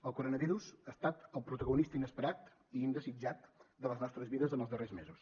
el coronavirus ha estat el protagonista inesperat i indesitjat de les nostres vides en els darrers mesos